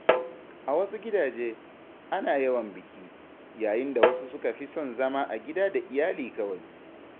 A wasu gidaje, ana yawan biki, yayin da wasu suka fi son zama a gida da iyali kawai.